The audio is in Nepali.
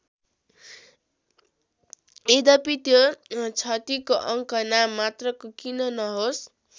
यद्यपि त्यो क्षतिको अङ्क नाम मात्रको किन नहोस्।